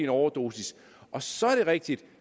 overdosis og så er det rigtigt at